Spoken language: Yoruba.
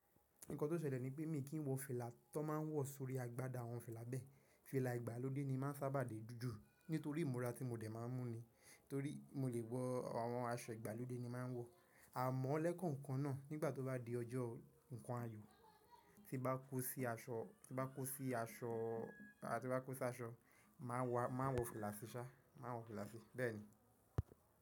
Nǹkan tó ṣẹlẹ̀ ni pé mi kì í wọ fìlà tó máa ń wọ̀ sórí agbádá àwọn fìlà bẹ́ẹ̀. Fìlà ìgbàlódé ni màá sábà dé ju nítorí ìmúra tí mo dè má a ń mú ni. Torí mo lè wọ àwọn aṣọ ìgbàlódé ni màá ń wọ. A mọ̀ọ́ lẹ́kọ̀ọ̀kan náà nígbà tó bá di ọjọ́ nǹkan ayọ̀ tí bá kó sí aṣọ, tí bá kó sí aṣọ, tí bá kó sí aṣọ máa wọ̀, máa wọ fìlà sí sá, máa wọ fìlà sí bẹ́ẹ̀ni.